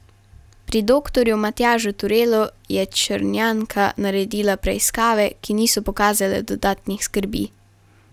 Pri doktorju Matjažu Turelu je Črnjanka naredila preiskave, ki niso pokazale dodatnih skrbi.